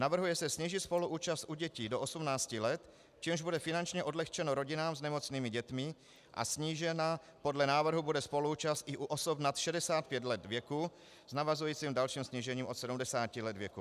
Navrhuje se snížit spoluúčast u dětí do 18 let, čímž bude finančně odlehčeno rodinám s nemocnými dětmi, a snížena podle návrhu bude spoluúčast i u osob nad 65 let věku s navazujícím dalším snížením od 70 let věku.